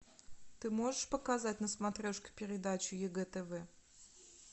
ты можешь показать на смотрешке передачу егэ тв